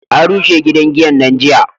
an rushe gidan giyan nan jiya